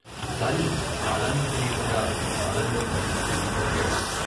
కానీ కాలానికి తెలియకుండా కాలంలో కలిసిపోయి బతి కాడు.